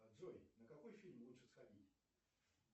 джой на какой фильм лучше сходить